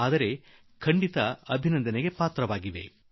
ಆದರೆ ಎಲ್ಲಾ ರಾಜ್ಯಗಳು ಅಭಿನಂದನೆಗೆ ಪಾತ್ರವಾಗಿವೆ